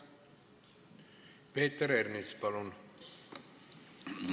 Peeter Ernits, palun!